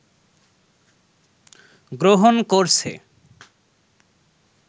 গ্রহন করছে